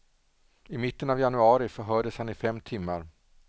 I mitten av januari förhördes han i fem timmar.